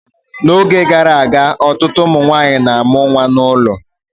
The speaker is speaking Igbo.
N'oge gara aga ọtụtụ ụmụ nwanyị na-amụ nwa n'ụlọ